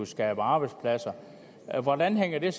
skabe arbejdspladser hvordan hænger det